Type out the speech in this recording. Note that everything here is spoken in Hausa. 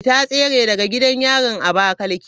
Ta tsere daga gidan yarin Abakaliki.